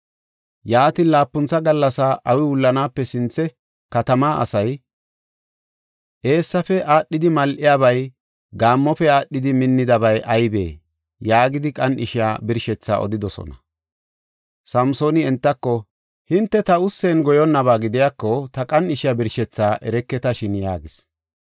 Yaatin, laapuntha gallas awi wullanaape sinthe katamaa asay, “Eessaafe aadhidi mal7iyabay, gaammofe aadhidi minniyabay aybee?” yaagidi qan7ishiya birshethaa odidosona. Samsooni entako, “Hinte ta ussen goyonnaba gidiyako, ta qan7ishiya birshethaa ereketashin” yaagis.